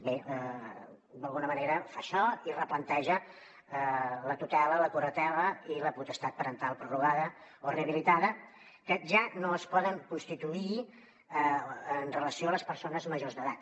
bé d’alguna manera fa això i replanteja la tutela la curatela i la potestat parental prorrogada o rehabilitada que ja no es poden constituir en relació amb les persones majors d’edat